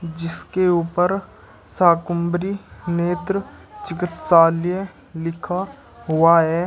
जिसके ऊपर शाकुम्भरी नेत्र चिकित्सालय लिखा हुआ है।